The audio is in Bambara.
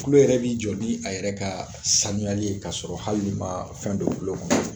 kulo yɛrɛ b'i jɔ ni a yɛrɛ ka sanuyali ye ka sɔrɔ hal'i ma fɛn don kulo kɔnɔ